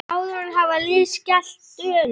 Áður hafði liðið skellt Dönum.